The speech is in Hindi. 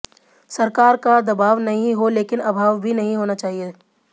सरकार का दबाव नहीं हो लेकिन अभाव भी नहीं होना चाहिए